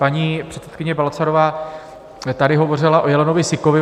Paní předsedkyně Balcarová tady hovořila o jelenovi sikovi.